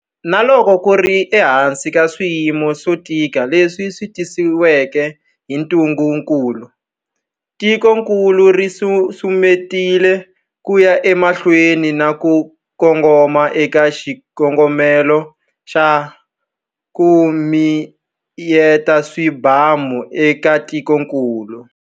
Na loko ku ri ehansi ka swiyimo swo tika leswi tisiweke hi ntungukulu, tikokulu ri susumetile ku ya emahlweni na ku kongoma eka xikongomelo xa ku miyeta swibamu eka tikokulu.